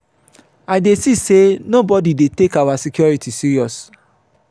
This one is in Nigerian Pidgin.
i dey see say nobody dey take our security serious.